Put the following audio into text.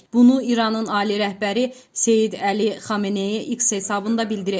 Bunu İranın ali rəhbəri Seyid Əli Xameneyi X hesabında bildirib.